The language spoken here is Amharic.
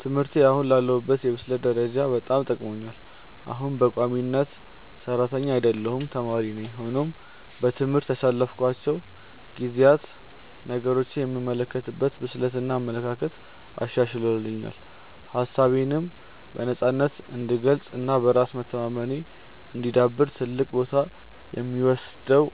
ትምህርቴ አሁን ላለሁበት የብስለት ደረጃ በጣም ጠቅሞኛል። አሁንም በቋሚነት ሰራተኛ አይደለሁም ተማሪ ነኝ። ሆኖም በትምህርት ያሳለፍኳቸው ጊዜያት ነገሮችን የምመለከትበትን ብስለት እና አመለካከት አሻሽሎልኛል። ሀሳቤነም በነፃነት እንድገልፅ እና በራስ መተማመኔ እንዲዳብር ትልቁን ቦታ የሚወስደው